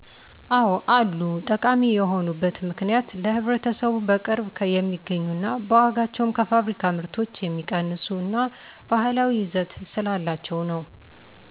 አዎ አሉ። ጠቃሚ የሆኑበት ምክንያት ለህብረተሰቡ በቅርብ የሚገኙ ና በዋጋቸውም ከፋብሪካ ምርቶች የሚቀንሱ እና ባህላዊ ይዘት ስላላቸው ነው።